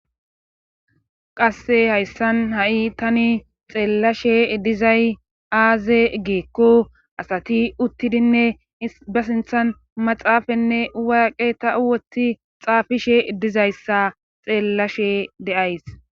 qasse hayssan ha7i tani xeellashe dizay aaze giikko asati uttidinne ist ba sinthan maxaafanne waaqe ta woti xaafishe dizayssa xeellashe de'ays